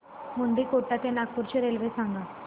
मुंडीकोटा ते नागपूर ची रेल्वे सांगा